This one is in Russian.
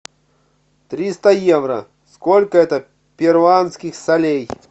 триста евро сколько это перуанских солей